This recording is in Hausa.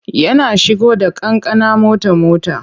Yana shigo da kankana mota-mota.